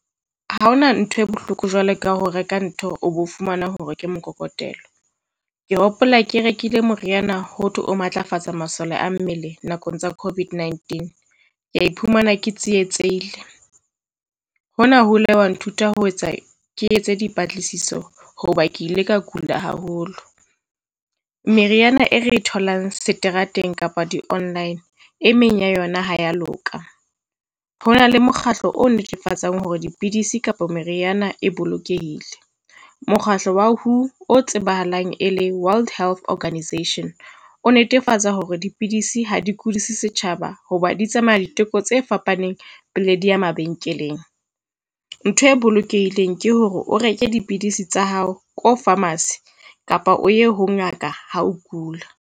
Ha hona ntho e bohloko jwalo ka ho reka ntho, o bo fumana hore ke mokokotelo. Ke hopola ke rekile moriana ho thwe o matlafatsa masole mmele nakong tsa COVID-19. Ka iphumana ke tsietsehile, hona ho ile a nthuta ho etsa ke etse dipatlisiso hoba ke ile ka kula haholo. Meriana e re tholang seterateng kapa di-online e meng ya yona ha ya loka, ho na le mokgatlo o netefatsang hore dipidisi kapa meriana e bolokehile. Mokgatlo wa WHO o tsebahalang e le World Health Organisation, o netefatsa hore dipidisi ha di kudise setjhaba hoba di tsamaya diteko tse fapaneng pele di ya mabenkeleng. Ntho e bolokehileng ke hore o reke dipidisi tsa hao ko pharmacy kapa o ye ho ngaka ha o kula.